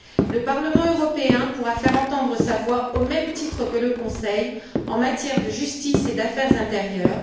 Le Parlement européen pourra faire entendre sa voix au même titre que le Conseil en matière de justice et d'affaires intérieures